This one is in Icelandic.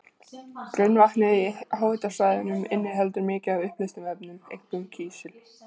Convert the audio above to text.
Grunnvatnið í háhitasvæðunum inniheldur mikið af uppleystum efnum, einkum kísil.